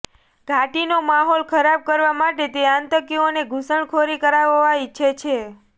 ઘાટીનો માહોલ ખરાબ કરવા માટે તે આતંકીઓને ઘૂસણખોરી કરાવવા ઈચ્છે છે